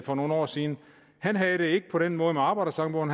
for nogle år siden havde det ikke på den måde med arbejdersangbogen